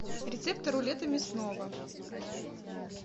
рецепты рулета мясного